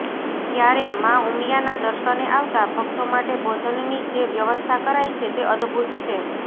ત્યારે માં ઉમિયાના દર્શને આવતા ભક્તો માટે ભોજનની જે વ્યવસ્થા કરાઈ છે તે અદભૂત છે